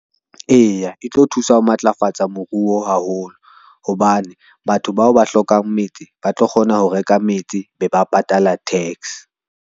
Eya, e tlo thusa ho matlafatsa moruo haholo, hobane batho bao ba hlokang metse ba tlo kgona ho reka metse, be ba patala tax.